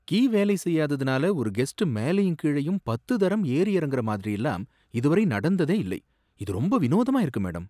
Key வேலை செய்யாததுனால ஒரு கெஸ்ட் மேலயும் கீழயும் பத்து தரம் ஏறி இறங்குற மாதிரியெல்லாம் இது வரை நடந்ததே இல்லை, இது ரொம்ப வினோதமா இருக்கு, மேடம்.